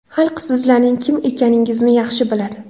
Xalq sizlarning kim ekaningizni yaxshi biladi.